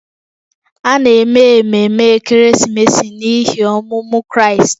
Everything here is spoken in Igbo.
A na-eme ememe ekeresimesi n’ihi ọmụmụ Kraịst